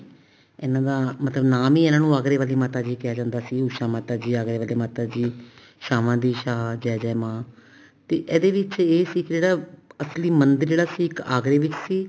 ਇਹਨਾ ਦਾ ਮਤਲਬ ਨਾਮ ਨੀ ਇਹਨਾ ਨੂੰ ਆਗਰੇ ਵਾਲੀ ਮਾਤਾ ਕਿਹਾ ਜਾਂਦਾ ਸੀ ਉਸ਼ਾ ਮਾਤਾ ਜੀ ਆਗਰੇ ਵਾਲੇ ਮਾਤਾ ਜੀ ਛਾਂਵਾਂ ਸੀ ਛਾਂ ਜੈ ਜੈ ਮਾਂ ਤੇ ਇਹਦੇ ਵਿੱਚ ਇਹ ਸੀ ਜਿਹੜਾ ਅਸਲੀ ਮੰਦਿਰ ਜਿਹੜਾ ਸੀ ਇੱਕ ਆਗਰੇ ਵਿੱਚ ਸੀ